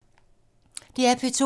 DR P2